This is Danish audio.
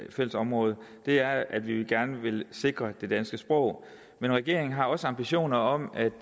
ét fælles område og det er at vi gerne vil sikre det danske sprog men regeringen har også ambitioner om at